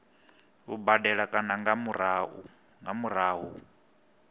u badela kana nga murahu